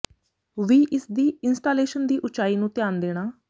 ਵੀ ਇਸ ਦੀ ਇੰਸਟਾਲੇਸ਼ਨ ਦੀ ਉਚਾਈ ਨੂੰ ਧਿਆਨ ਦੇਣਾ